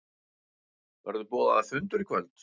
Verður boðaður fundur í kvöld?